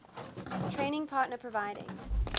trading partner providing